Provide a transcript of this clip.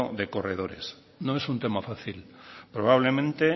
de corredores no es un tema fácil probablemente